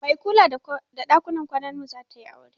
Mai kula da ɗakunan kwanan mu zatayi aure